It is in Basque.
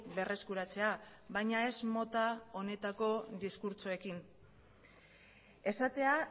berreskuratzea baina ez mota honetako diskurtsoekin esatea